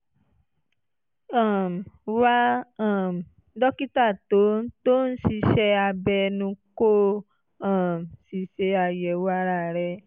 um wá um dókítà tó ń tó ń ṣiṣẹ́ abẹ ẹnu kó o um sì ṣe àyẹ̀wò ara rẹ